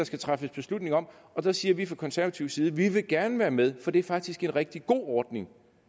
skal træffes beslutning om og der siger vi fra konservativ side at vi gerne vil være med for det er faktisk en rigtig god ordning